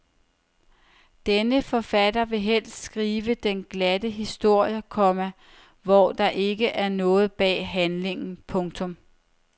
Denne forfatter vil helst skrive den glatte historie, komma hvor der ikke er noget bag handlingen. punktum